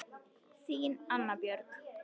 Þín, Anna Björg.